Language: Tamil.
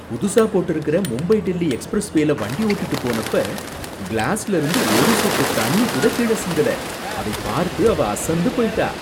புதுசா போட்டிருக்கிற மும்பை டெல்லி எக்ஸ்பிரஸ்வேல வண்டி ஓட்டிட்டுப் போனப்ப கிளாஸ்ல இருந்து ஒரு சொட்டு தண்ணி கூட கீழ சிந்தல, அதைப் பார்த்து அவ அசந்து போயிட்டா